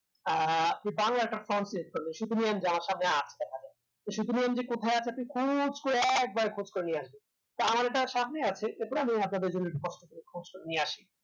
আহ যে বাংলা একটা front page আমরা সামনে আস্তে হবে তো সে তুলনায় কোথাও আপনাকে কোনো খোঁজ করে নিয়ে আসবে আমার এটাতে সামনে আসে চলুন আপনাদের জন্য খোঁজ করে নিয়ে আসি